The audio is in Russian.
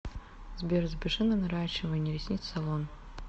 сбер запиши на наращивание ресниц в салон